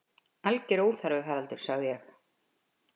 Alger óþarfi, Haraldur sagði ég.